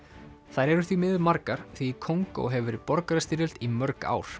þær eru því miður margar því í Kongó hefur verið borgarastyrjöld í mörg ár